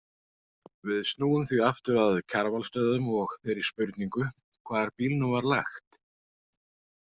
Við snúum því aftur að Kjarvalsstöðum og þeirri spurningu hvar bílnum var lagt.